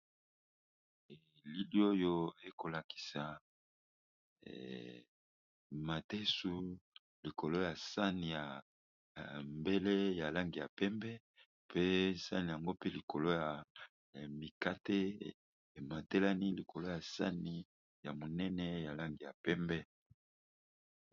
Elili oyo ekolakisa matesu likolo ya sani ya mbele ya lange ya pembe mpe sani yango pe likolo ya mikate ematelani likolo ya sani ya monene ya lange ya pembe.